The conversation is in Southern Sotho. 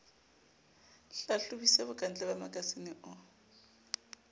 hlahlobisisa bokantle ba makasine o